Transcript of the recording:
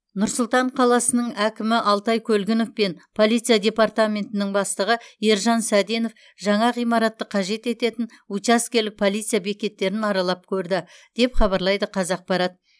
нұр сұлтан қаласының әкімі алтай көлгінов пен полиция департаментінің бастығы ержан сәденов жаңа ғимаратты қажет ететін учаскелік полиция бекеттерін аралап көрді деп хабарлайды қазақпарат